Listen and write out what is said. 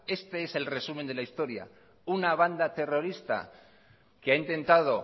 este es el resumen de la historia una banda terrorista que ha intentado